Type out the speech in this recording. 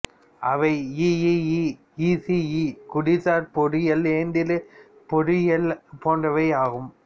அவை EEE ECE குடிசார் பொறியியல் இயந்திரப் பொறியியல் போன்றவை ஆகும்